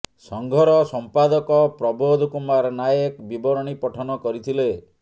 ସଂଘର ସଂପାଦକ ପ୍ରବୋଧ କୁମାର ନାୟକ ବିବରଣୀ ପଠନ କରିଥିଲେ